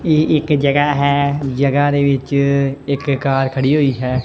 ਇਹ ਇੱਕ ਜਗਾ ਹੈ ਜਗਾ ਦੇ ਵਿੱਚ ਇੱਕ ਕਾਰ ਖੜੀ ਹੋਈ ਹੈ।